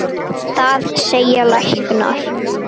Það segja læknar.